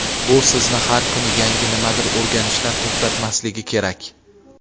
bu sizni har kuni yangi nimadir o‘rganishdan to‘xtatmasligi kerak.